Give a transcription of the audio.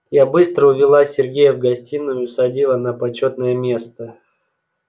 я быстро увела сергея в гостиную и усадила на почётное место